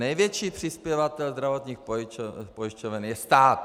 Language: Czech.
Největší přispěvatel zdravotních pojišťoven je stát.